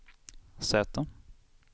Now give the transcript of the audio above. Z